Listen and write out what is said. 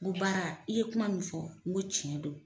N ko baara i ye kuma min fɔ n ko cɛn de don